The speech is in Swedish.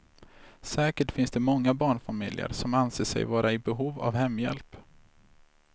Säkert finns det många barnfamiljer som anser sig vara i behov av hemhjälp.